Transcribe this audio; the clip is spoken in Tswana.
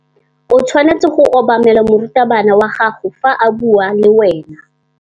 O tshwanetse go obamela morutabana wa gago fa a bua le wena.